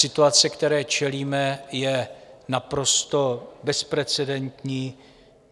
Situace, které čelíme, je naprosto bezprecedentní.